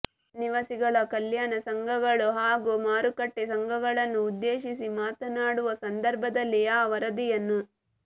ನಿವಾಸಿಗಳ ಕಲ್ಯಾಣ ಸಂಘಗಳು ಹಾಗೂ ಮಾರುಕಟ್ಟೆ ಸಂಘಗಳನ್ನು ಉದ್ದೇಶಿಸಿ ಮಾತನಾಡುವ ಸಂದರ್ಭದಲ್ಲಿ ಆ ವರದಿಯನ್ನು